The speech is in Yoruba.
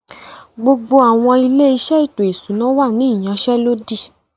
Gbogbo àwọn “ilé-iṣẹ́ ètò ìṣúná” wà ní ìyansẹ́lódì